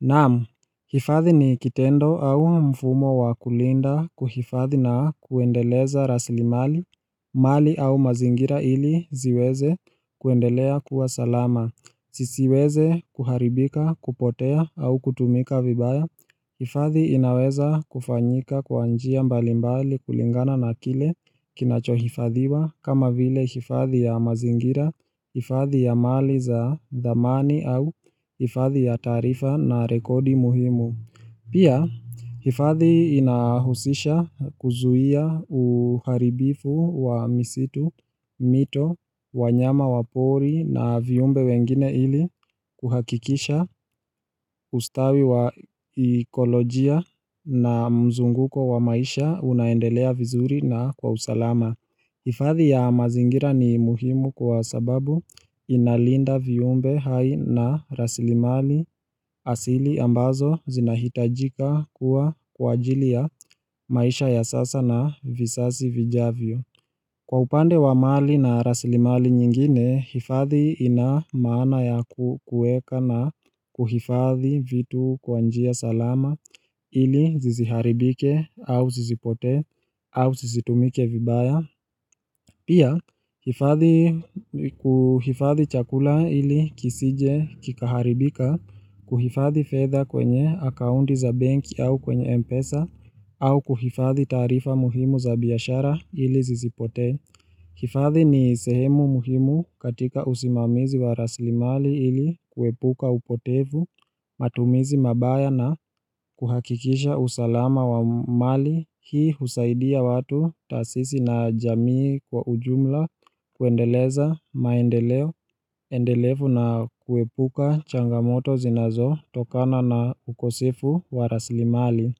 Naam, hifadhi ni kitendo au mfumo wa kulinda kuhifadhi na kuendeleza rasli mali, mali au mazingira ili ziweze kuendelea kuwa salama, zisiweze kuharibika, kupotea au kutumika vibaya. Hifadhi inaweza kufanyika kwa njia mbali mbali kulingana na kile kinachohifadhiwa kama vile hifadhi ya mazingira, hifadhi ya mali za dhamani au hifadhi ya taarifa na rekodi muhimu. Pia, hifathi inahusisha kuzuia uharibifu wa misitu, mito, wanyama wapori na viumbe wengine ili kuhakikisha ustawi wa ekolojia na mzunguko wa maisha unaendelea vizuri na kwa usalama. Hifadhi ya mazingira ni muhimu kwa sababu inalinda viumbe hai na rasilimali asili ambazo zinahitajika kuwa kwa ajili ya maisha ya sasa na visasi vijavyo. Kwa upande wa mali na rasilimali nyingine, hifadhi ina maana ya kuweka na kuhifadhi vitu kwa njia salama ili zisiharibike au zisipote au zisitumike vibaya. Pia, hifadhi nikuhifadhi chakula ili kisije kikaharibika, kuhifadhi fedha kwenye akaunti za benki au kwenye mpesa, au kuhifadhi taarifa muhimu za biashara ili zisipotee. Kifadhi ni sehemu muhimu katika usimamizi wa raslimali ili kuepuka upotevu, matumizi mambaya na kuhakikisha usalama wa mali hii husaidia watu tasisi na jamii kwa ujumla kuendeleza maendeleo, endelefu na kuepuka changamoto zinazo tokana na ukosefu wa raslimali.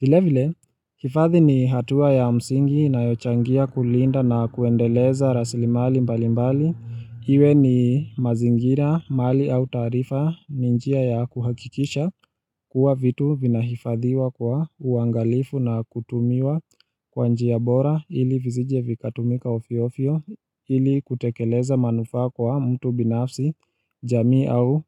Vile vile, hifathi ni hatua ya msingi inayochangia kulinda na kuendeleza raslimali mbali mbali. Iwe ni mazingira mali au taarifa ni njia ya kuhakikisha kuwa vitu vina hifadhiwa kwa uangalifu na kutumiwa kwa njia bora ili vizije vikatumika ovyo ovyo ili kutekeleza manufaa kwa mtu binafsi jamii au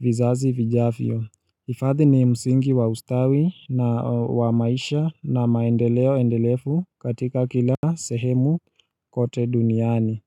vizazi vijavyo. Hifathi ni msingi wa ustawi na wa maisha na maendeleo endelefu katika kila sehemu kote duniani.